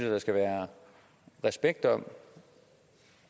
der skal være respekt om